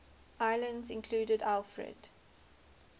islands included alfred